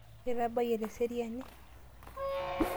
Itabayie tesiran?